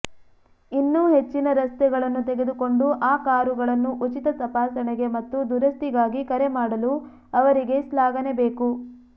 ಇನ್ನೂ ಹೆಚ್ಚಿನ ರಸ್ತೆಗಳನ್ನು ತೆಗೆದುಕೊಂಡು ಆ ಕಾರುಗಳನ್ನು ಉಚಿತ ತಪಾಸಣೆಗೆ ಮತ್ತು ದುರಸ್ತಿಗಾಗಿ ಕರೆಮಾಡಲು ಅವರಿಗೆ ಶ್ಲಾಘನೆ ಬೇಕು